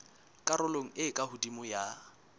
karolong e ka hodimo ya